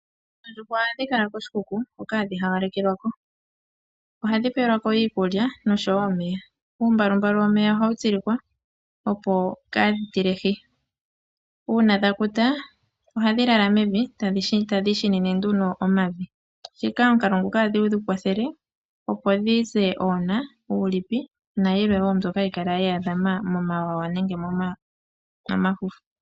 Oondjuhwa ohadhi kala koshikuku hoka hadhi hawelekelwako. Ohadhi pelwako iikulya oshowo omeya . Uumbalumbalu womeya ohawu tsilikwa opo kadhi tilehi. Uuna dha kuta ohadhi lala mevi tadhi ishinine nduno omavi omukalo nguka ohadhi kwathele opo dhize oona, uulipi nayilwe mbyoka hayi kala yedhi dhama momawawa nenge momafufu.